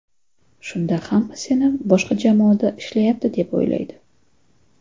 Shunda hamma seni boshqa jamoada ishlayapti deb o‘ylaydi”.